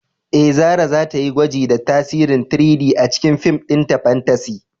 Eh, Zarah za ta yi gwaji da tasirin 3-D a cikin fim ɗinta fantasy